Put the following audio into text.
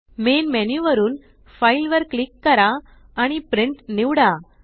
main menu वरुन file वर click करा आणि प्रिंट निवडा